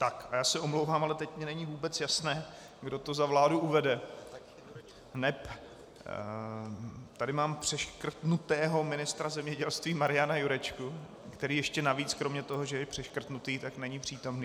Tak a já se omlouvám, ale teď mi není vůbec jasné, kdo to za vládu uvede, neb tady mám přeškrtnutého ministra zemědělství Mariana Jurečku, který ještě navíc kromě toho, že je přeškrtnutý, tak není přítomný.